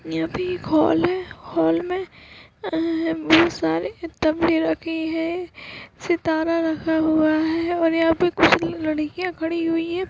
यहाँ पे एक हॉल है हॉल मे अ-हं बहोत सारे तबले रखे हैं सितारा रखा हुआ है और यहाँ पे कुछ लड़-लड़कियां खड़ी हुई हैं ।